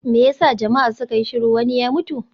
Me ya sa jama'a suka yi shiru, wani ya mutu?